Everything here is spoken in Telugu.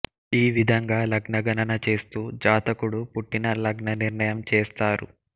ఈ విధంగా లగ్న గణన చేస్తూ జాతకుడు పుట్టిన లగ్న నిర్ణయం చేస్తారు